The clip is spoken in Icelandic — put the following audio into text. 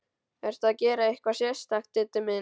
Ertu að gera eitthvað sérstakt, Diddi minn.